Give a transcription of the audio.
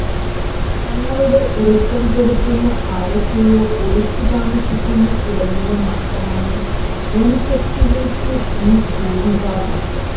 തങ്ങളുടെ ഉറക്കം കെടുത്തുന്ന ആരൊക്കെയോ ഒളിച്ച് താമസിക്കുന്ന ഇടങ്ങള് മാത്രമാണ് വന് ശക്തികള്ക്ക് ഈ ഭൂവിഭാഗം